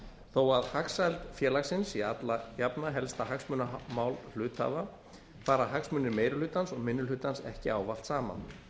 þó að hagsæld félagsins sé alla jafna helsta hagsmunamál hluthafa fara hagsmunir meiri hlutans og minni hlutans ekki ávallt saman